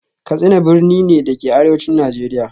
Katsina birni ne, da ke a Arewacin Najeriya